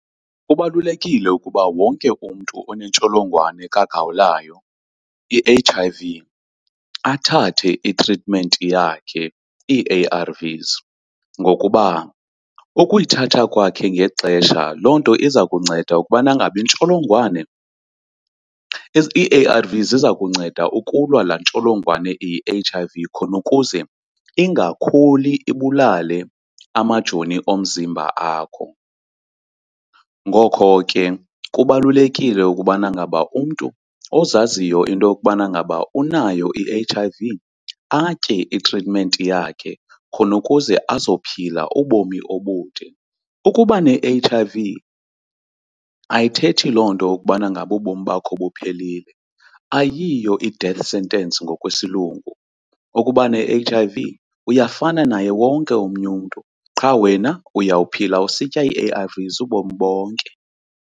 Kubalulekile ukuba wonke umntu onentsholongwane kagawulayo i-H_I_V athathe itritimenti yakhe, ii-ARVS, ngokuba ukuyithatha kwakhe ngexesha loo nto iza kunceda ukubana ngaba intsholongwane, ii-ARVS ziza kunceda ukulwa laa ntsholongwane iyi-H_I_V khona ukuze ingakhuli ibulale amajoni omzimba akho. Ngoko ke kubalulekile ukubana ngaba umntu ozaziyo into yokubana ngaba unayo i-H_I_V atye itritimenti yakhe khona ukuze azophila ubomi obude. Ukuba ne-H_I_V ayithethi loo nto ukubana ngaba ubomi bakho buphelile, ayiyo i-death sentence ngokwesilungu, ukuba ne-H_I_V uyafana naye wonke omnye umntu qha wena uyawuphila usitya ii-ARVS ubomi bonke.